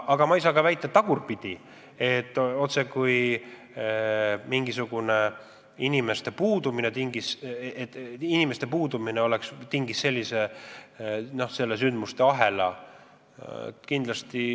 Aga ma ei saa väita ka seda, et just personali vähesus tingis sellise sündmuste ahela.